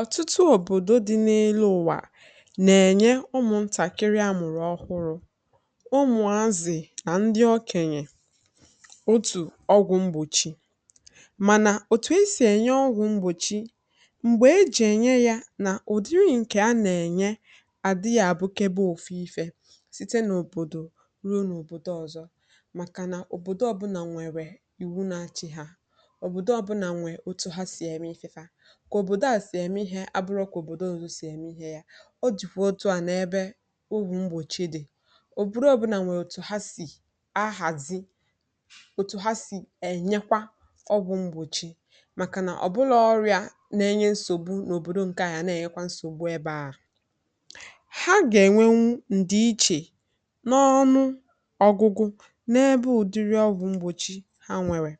Ọtụtụ òbòdo dị n’elu ụwa na-enye ụmụntakịrị amụrụ ọhụrụ, ụmụazị, ndị ọkènye, otu ọgwụ mgbochi, ma na otu esi enye ọgwụ mgbòchi mgbe eji enye ya na ụdịdị nke a na-enye adi ya bụkebe otu ifè site n’òbòdò ruo n’òbòdo ọzọ. Màkà na òbòdo ọbụna nwere iwu n’achị ha ka òbòdo a si eme ihe a bụrọ ka òbòdo ọzọ si eme ihe ya, o jiri otu a n’ebe ugwu mgbòchi dị. Òbòdo ọ bụla nwere otu ha si ahazi, otu ha si enyekwa ọgwụ mgbòchi, maka na ọ bụlọọ ọrịa na-enye nsògbu n’òbòdo. Nke ahụịa na-enye nsògbu ebe ahụ, ha ga-enwenu ndịiche n’ọnụ ọgụgụ n’ebe ụdịdị ọgwụ mgbòchi ha nwere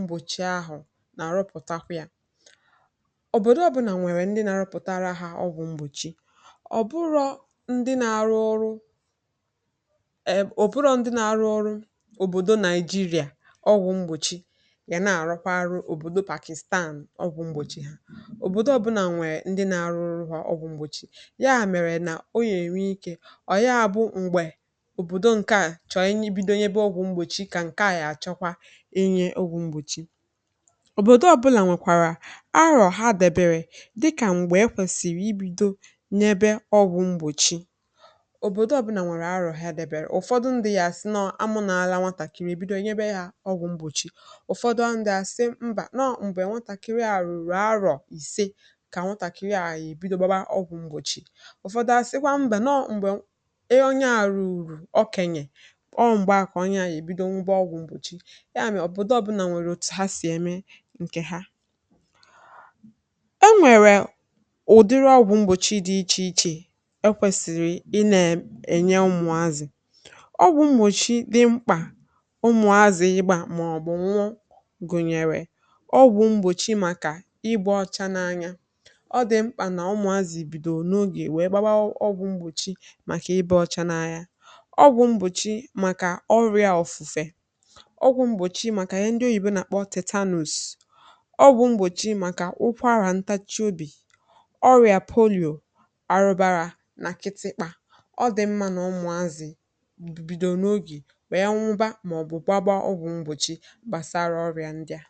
mgbòchi ahụ na arụpụtara ya. Òbòdo ọbụna nwere ndị na-arụpụta ha ọgwụ mgbòchi, ọ bụrọ ndị na-arụ ọrụ è òbòdo, ndị na-arụ ọrụ òbòdo na Nigeria. Ọgwụ mgbòchi ga na-arụkwa arụ, òbòdo Pakistan ọgwụ mgbòchi, òbòdo ọbụna nwere ndị na-arụ ọrụ ha ọgwụ mgbòchi ya mere na ọ nwere ike. Ọ ya bụ mgbe òbòdo nke a chọị bido nye ọgwụ mgbòchi ka enye ọgwụ mgbochi, òbòdo ọbụla nwekwara arọ ha debe dị ka mgbe ekwesịrị ibido nye ọgwụ mgbòchi. Òbòdo ọbụla nwere arọ ha debere, ụfọdụ ndị ya asị nọ amụ n’ala nwatakịrị ebido ye ya ọgwụ mgbochi. Ụfọdụ ndị asị mba nọ mgbe nwatakịrị a rụrụ arọ ise ka nwatakịrị a ya ebido gbaa ọgwụ mgbochi. Ụfọdụ asịkwa mba nọ mgbe onye a rụrụ ọkenye, ọ mgbe akọ onye a ya ebido bụ ọgwụ mgbochi. Ya, òbòdo ọbụla nweere ha si eme nke ha. E nweere ụdịdị ọgwụ mgbòchi dị iche iche, ekwesịrị ị nọ ebe nye ụmụazị ọgwụ mgbòchi dị mkpà, ụmụazị ịgba maọbụ nwogù gụnyere ọgwụ mgbòchi maka igbe ọcha n’anya. Ọ dị mkpà na ụmụazị bido n’oge wee gbaa ọgwụ mgbòchi maka ịba ọcha n’anya, ọgwụ mgbòchi maka ọrịa ọfụfe, ọ bụ mbòchi maka ihe ndị oyibo na-akpọ tetanus, ọ bụ mbòchi maka ụkwara ntachị obi ọrịa poliò arụbàrà nakịtị. Kpa ọ dị mma na ọmụazị bido n’oge bụ ya mụbà maọbụ gbaa ọgwụ mgbòchi gbasara ọrịa ndị a.